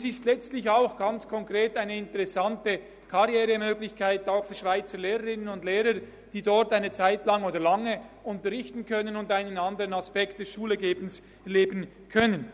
Es ist letztlich auch ganz konkret eine interessante Karrieremöglichkeit für Schweizer Lehrerinnen und Lehrer, die dort eine Zeitlang oder auch lange unterrichten können und einen anderen Aspekt des «Schulegebens» erleben können.